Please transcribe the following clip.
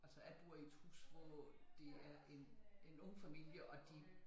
Altså jeg bor i et hus hvor det er en en ung familie og de